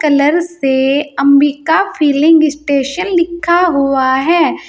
Colour से Ambika filling station लिखा हुआ है।